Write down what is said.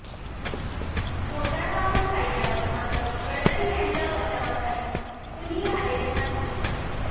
motor वाहन कायद्यावर मात्र गडकरी यांच्या बचावासाठी कुणी आलेलं नाही